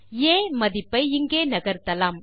ஆ மதிப்பை இங்கே நகர்த்தலாம்